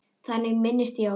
Þannig minnist ég Gests.